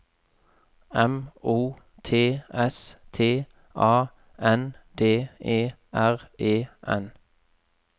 M O T S T A N D E R E N